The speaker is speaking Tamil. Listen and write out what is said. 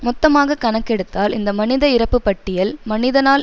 மொத்தமாக கணக்கெடுத்தால் இந்த மனித இறப்புப்பட்டியல் மனிதனால்